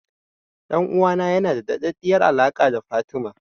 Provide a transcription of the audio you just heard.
Ɗan'uwana yana da daɗaɗɗiyar alaƙa da Fatima.